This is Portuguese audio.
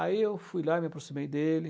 Aí eu fui lá e me aproximei dele.